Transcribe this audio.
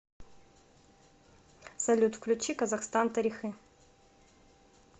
салют включи казахстан тарихы